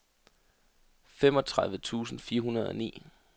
femogtredive tusind fire hundrede og ni